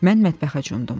Mən mətbəxə cumdum.